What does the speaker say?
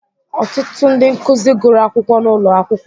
Ọtụtụ ndị nkuzi gụrụ akwụkwọ n'ụlọ akwụkwọ